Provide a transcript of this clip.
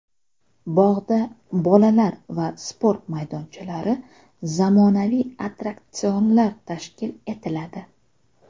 Bog‘da bolalar va sport maydonchalari, zamonaviy attraksionlar tashkil etiladi.